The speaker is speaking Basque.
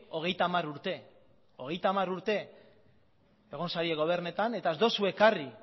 hogeita hamar urte hogeita hamar urte egon zarete gobernatzen eta ez duzue ekarri